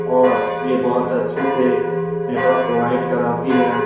और ये बहुत अच्छे से नेटवर्क प्रोवाइड कराती है।